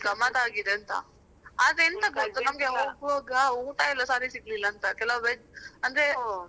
ಗಮ್ಮತ್ ಆಗಿದೆ ಅಂತ ಆದ್ರೆ ಎಂಥ ಗೊತ್ತ ಹೋಗುವಾಗ ಊಟ ಎಲ್ಲ ಸರಿ ಸಿಗ್ಲಿಲ್ಲ ಅಂತ ಕೆಲವ್ veg ಅಂದ್ರೆ veg .